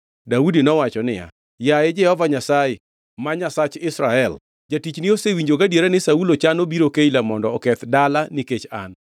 Daudi nowacho niya, “Yaye Jehova Nyasaye ma Nyasach Israel, jatichni osewinjo gadiera ni Saulo chano biro Keila mondo oketh dala nikech an.